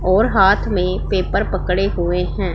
और हाथ में पेपर पकड़े हुए हैं।